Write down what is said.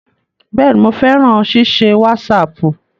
Bẹ́ẹ̀ni, mo fẹ́ràn ṣíṣe wásaàpù